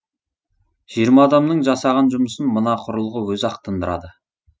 жиырма адамның жасаған жұмысын мына құрылғы өзі ақ тындырады